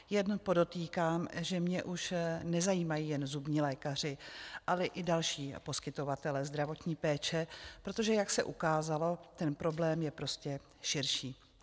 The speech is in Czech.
Jenom podotýkám, že mě už nezajímají jen zubní lékaři, ale i další poskytovatelé zdravotní péče, protože jak se ukázalo, ten problém je prostě širší.